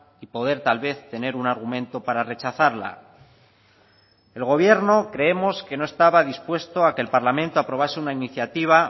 y poder tal vez tener un argumento para rechazarla el gobierno creemos que no estaba dispuesto a que el parlamento aprobase una iniciativa